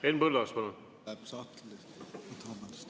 Henn Põlluaas, palun!